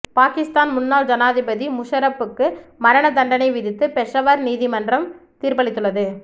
பாகிஸ்தான் முன்னாள் ஜனாதிபதி முஷரப்புக்கு மரணத் தண்டனை விதித்து பெஷாவர் நீதிமன்றம் தீர்ப்பளித்துள்ளது